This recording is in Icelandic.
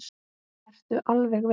Ertu alveg viss?